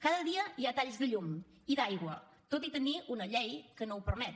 cada dia hi ha talls de llum i d’aigua tot i tenir una llei que no ho permet